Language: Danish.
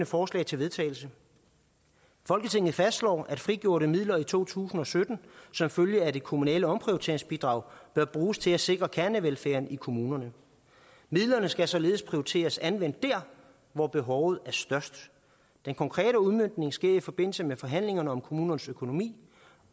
forslag til vedtagelse folketinget fastslår at frigjorte midler i to tusind og sytten som følge af det kommunale omprioriteringsbidrag bør bruges til at sikre kernevelfærden i kommunerne midlerne skal således prioriteres anvendt dér hvor behovet er størst den konkrete udmøntning sker i forbindelse med forhandlingerne om kommunernes økonomi